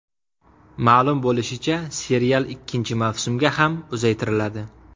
Ma’lum bo‘lishicha, serial ikkinchi mavsumga ham uzaytiriladi.